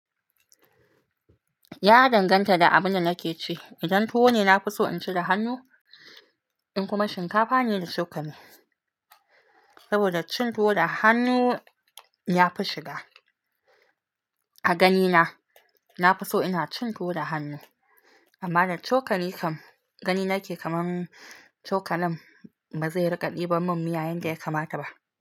Ya danganta da abin da nake ci. Idan tuwo ne, nafi so in ci da hannu in kuma shinkafa ne da cokali. Saboda cin tuwo da hannu yafi shiga a ganina. Nafi so ina cin tuwo da hannu amma da cokali kam, gani nake kaman cokalin ba zai riƙa ɗiban min miya yanda yakamata ba.